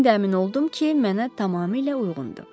İndi əmin oldum ki, mənə tamamilə uyğundur.